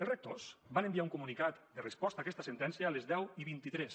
els rectors van enviar un comunicat de resposta a aquesta sentència a les deu vint tres